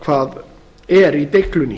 hvað er í deiglunni